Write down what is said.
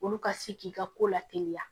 Olu ka se k'i ka ko la teliya